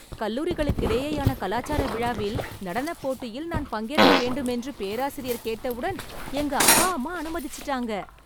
கல்லூரிகளுக்கிடையேயான கலாசார விழாவில் நடனப் போட்டியில் நான் பங்கேற்க வேண்டும் என்று பேராசிரியர் கேட்டவுடன், எங்க அப்பா அம்மா அனுமதிச்சிட்டாங்க...